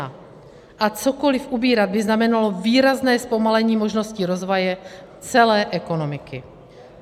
A cokoliv ubírat by znamenalo výrazné zpomalení možnosti rozvoje celé ekonomiky.